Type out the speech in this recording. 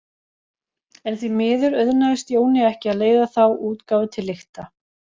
En því miður auðnaðist Jóni ekki að leiða þá útgáfu til lykta.